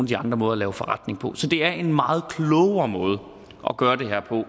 de andre måder at lave forretning på så det er en meget klogere måde at gøre det her på